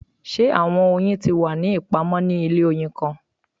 Ṣe awọn oyin ti wa ni ipamọ ni ile oyin kan?